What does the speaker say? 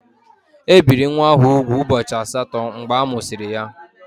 E biri nwa ahụ úgwù ụbọchị asatọ mgbe amụsịrị ya.